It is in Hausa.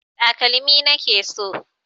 Takalmi na ke so.